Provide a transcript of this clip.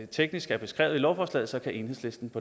teknisk er beskrevet i lovforslaget så kan enhedslisten